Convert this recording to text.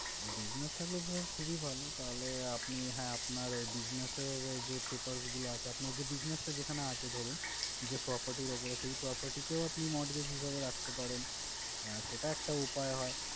Business থাকলে তো sir খুবই ভালো। তাহলে আপনি হ্যাঁ আপনার business এর যে papers গুলো আছে, আপনার business টা যেখানে আছে ধরুন, যে property এর উপরে আছে, এই peoperty কেও আপনি mortgage হিসেবে রাখতে পারেন। আহ সেটা একটা উপায়ও হয়